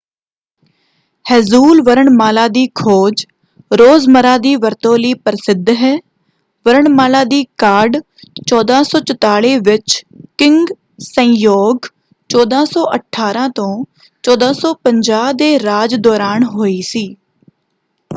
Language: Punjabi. ਹੈਂਜੂਲ ਵਰਣਮਾਲਾ ਦੀ ਖੋਜ ਰੋਜ਼ਮਰ੍ਹਾ ਦੀ ਵਰਤੋਂ ਲਈ ਪ੍ਰਸਿੱਧ ਹੈ। ਵਰਣਮਾਲਾ ਦੀ ਕਾਢ 1444 ਵਿੱਚ ਕਿੰਗ ਸੇਜੋਂਗ 1418 - 1450 ਦੇ ਰਾਜ ਦੌਰਾਨ ਹੋਈ ਸੀ।